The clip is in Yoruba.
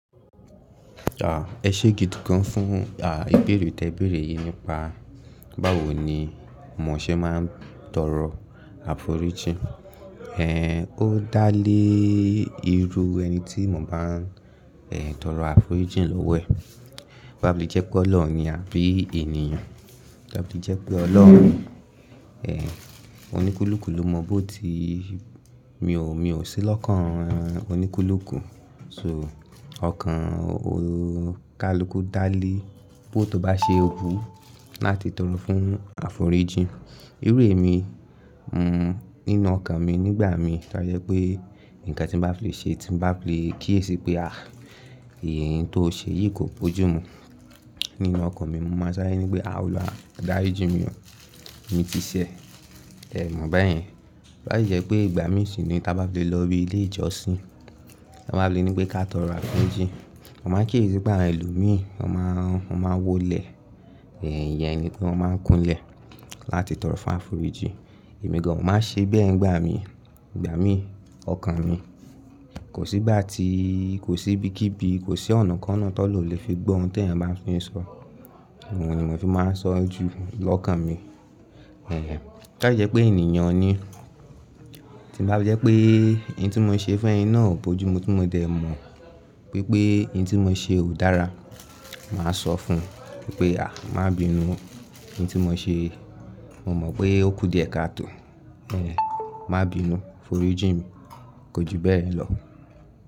À, ẹ ṣé gidi gan fún, à, ìbéèrè tí ẹ béèrè yìí nípa báwo ni mò ṣe máa ń tọrọ àforíjì. Ê, ó dá lé ìrù ẹni tí mò bá n, Ê, tọrọ àforíjìn lọ́wọ́ ẹ̀. Bá mi jẹ́ pé Ọlọ́run ni àbí ènìyàn. Bá ti jẹ́ pé Ọlọ́run, oníkúlùkù ló mọ bó ti, mi ò, mi ò sí lọ́kàn oníkúlùkù. So ọkàn ò kàlùkù dá lé bó tó bá ṣe wú láti tọrọ fún àforíjìn. Irú èmi, nínú ọkàn mi nígbà mi ta yẹ pé nǹkan tí n bá lè ṣe tí n bá lè kíyèsi pé, "à, èyí tó o ṣe yìí kò bójúù mi." Nínú ọkàn mi mo máa sárẹ̀ ní pé, "à óluwa dáríji mi o." Mi ti ṣẹ̀, mò dé mọ̀ bẹ́ẹ̀ yẹn. Tó bá sì jé pé, ìgbà mí sí nì tá bá fi lè lò ibi ilé ijosin, tó bá fi lè ní pé ká tòro àforíjì. Mó máa ń kíyèsi pé àwon ẹlòmíì, wọ́n máa, wọ́n máa wólẹ̀, ìyẹn ni pé wọ́n máa ń kunlẹ̀ láti tọrọ fún àforíjìn. Èmi gan ò máa ṣe bẹ́ẹ̀ ńgbà mi. Ìgbà mi, ọkàn mi, kò sí gbà tí, kò sí bíkíbi, kò sí ọ̀nàkọ́na tó ọlohun ó lè fi gbọ́ ohun tè ẹ̀yàn bá fi n sọ. Òhun ni mò fi máa n sọ ju lọ́kàn mi. Ẹ̀hẹn, tá yẹ pé ènìyàn ni tí bá yẹ pé eyín tí mò ń ṣe fún ẹ náà bójúù mi tí mò dẹ̀ mọ̀ wípé eyín tí mò ń ṣe ò dára, màá sọ fún un wípé, "à, má bi inú eyín tí mò ń ṣe. Mo mọ̀ pé ó kù díẹ̀ káàtò. Mabinu forijimi Kójú bẹ́ẹ̀ lọ."